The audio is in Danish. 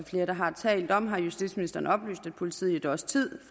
flere der har talt om har justitsministeren oplyst at politiet i et års tid